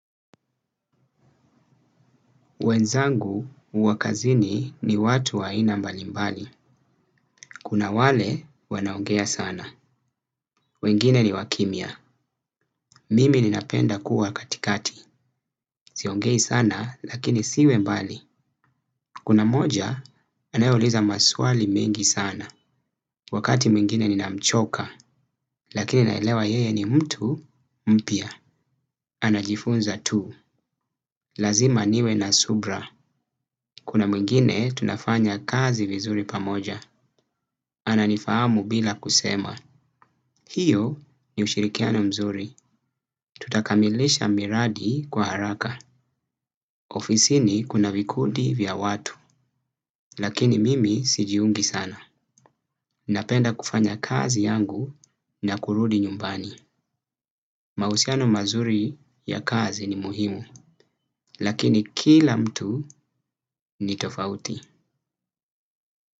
Wenzangu wa kazini ni watu waina mbalimbali. Kuna wale wanaongea sana. Wengine ni wa kimia. Mimi ninapenda kuwa katikati. Siongei sana lakini siwe mbali. Kuna moja anayeuliza maswali mingi sana. Wakati mwingine ninamchoka. Lakini naelewa yeye ni mtu mpya. Ana jifunza tu. Lazima niwe na subra. Kuna mwingine tunafanya kazi vizuri pamoja. Ana nifahamu bila kusema. Hiyo ni ushirikiana mzuri. Tutakamilisha miradi kwa haraka. Ofisi ni kuna vikundi vya watu. Lakini mimi sijiungi sana. Napenda kufanya kazi yangu na kurudi nyumbani. Mahusiano mazuri ya kazi ni muhimu. Lakini kila mtu ni tofauti.